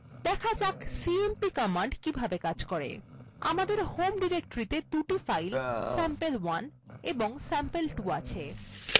দেখা যাক cmp কিভাবে cmp করে আমাদের home ডিরেক্টরিতে দুটো files sample1 এবং sample2 আছে